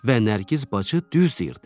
Və Nərgiz bacı düz deyirdi.